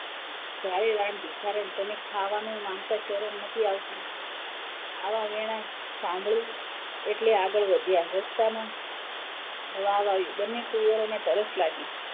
જાણે રાણ ભિખારણ તને ખાવાનું માંગતા શરમ નથી આવતી આવા વેણાં સાંભળી એટલે આગળ વધ્યાં રસ્તામાં વાવ આવી બન્ને કુવરોને તરસ લાગી,